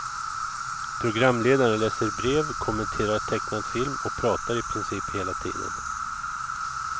Programledaren läser brev, kommenterar tecknad film och pratar i princip hela tiden.